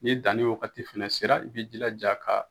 Ni danni wagati fɛnɛ sera, i bɛ jilaja ka